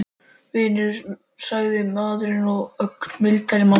Vinnu? sagði maðurinn og varð ögn mildari á manninn.